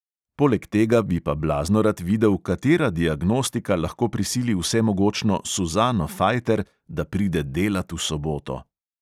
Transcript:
Poleg tega bi pa blazno rad videl, katera diagnostika lahko prisili vsemogočno suzano fajter, da pride delat v soboto.